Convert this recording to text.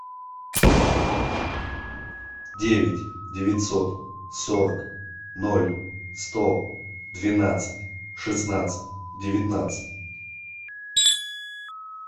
девять девятьсот сорок ноль сто двенадцать шестнадцать девятнадцать